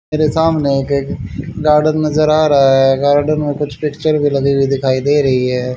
मेरे सामने एक गार्डन नजर आ रहा है गार्डन में कुछ पिक्चर भी लगी हुई दिखाई दे रही है।